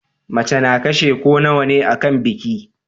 Mace na kashe ko nawane akan biki